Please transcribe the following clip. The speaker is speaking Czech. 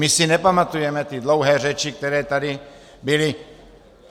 My si nepamatujeme ty dlouhé řeči, které tady byly?